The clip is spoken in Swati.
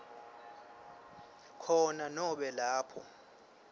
khona nobe lapho